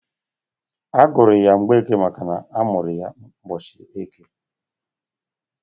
A gụrụ ya Mgbeke makana amụrụ ya ụbọchị eke.